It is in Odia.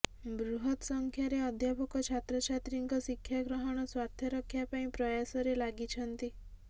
ବୃହତ୍ ସଂଖ୍ୟାରେ ଅଧ୍ୟାପକ ଛାତ୍ରଛାତ୍ରୀଙ୍କ ଶିକ୍ଷାଗ୍ରହଣ ସ୍ୱାର୍ଥ ରକ୍ଷା ପାଇଁ ପ୍ରୟାସରେ ଲାଗିଛନ୍ତି